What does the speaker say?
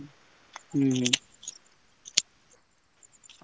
ହୁଁ ହୁଁ।